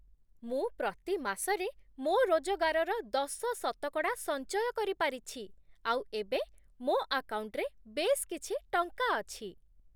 ମୁଁ ପ୍ରତି ମାସରେ ମୋ' ରୋଜଗାରର ଦଶ ଶତକଡ଼ା ସଞ୍ଚୟ କରିପାରିଛି ଆଉ ଏବେ ମୋ ଆକାଉଣ୍ଟ୍‌ରେ ବେଶ୍ କିଛି ଟଙ୍କା ଅଛି ।